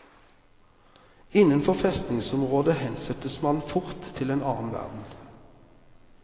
Innenfor festningsområdet hensettes man fort til en annen verden.